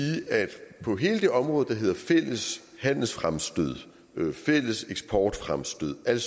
at på hele det område der hedder fælles handelsfremstød fælles eksportfremstød alle